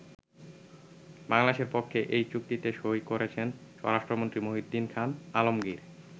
বাংলাদেশের পক্ষে এই চুক্তিতে সই করেছেন স্বরাষ্ট্রমন্ত্রী মহীউদ্দীন খান আলমগীর।